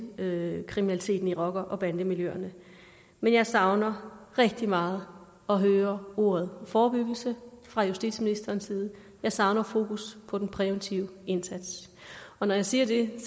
med kriminaliteten i rocker bande miljøerne men jeg savner rigtig meget at høre ordet forebyggelse fra justitsministerens side jeg savner fokus på den præventive indsats og når jeg siger det